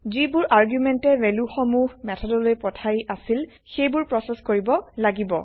যিবোৰ আৰগুমেন্টে ভেলু সমুহ মেথডলৈ পঠাই আছিল সেই বোৰ প্ৰছেচ কৰিব লাগিব